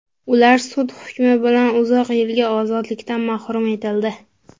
Ular sud hukmi bilan uzoq yilga ozodlikdan mahrum etildi.